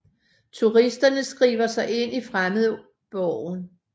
Turisterne skriver sig ind i fremmedborgen